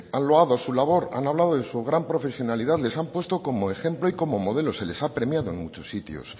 han loado su labor han hablado de su gran profesionalidad les ha puesto con ejemplo y como modelo se les ha premiado en muchos sitios